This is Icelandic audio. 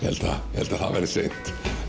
ég held að það verði seint